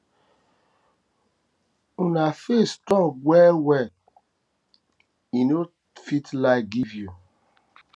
una faith strong well well strong well well i no fit lie give you